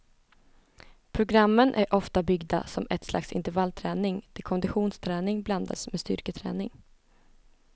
Programmen är ofta byggda som ett slags intervallträning där konditionsträning blandas med styrketräning.